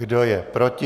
Kdo je proti?